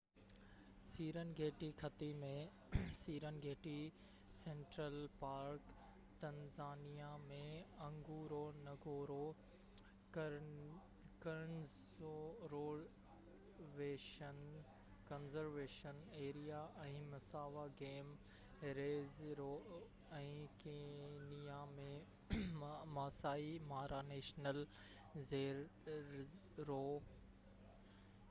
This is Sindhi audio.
سيرن گيٽي خطي ۾ Serengeti central park Tanzania ۾ Ngorongoro conservation area ۽ Maswa game reserve ۽ Kenya ۾ Maasai Mara national reserve